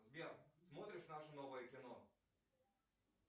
сбер смотришь наше новое кино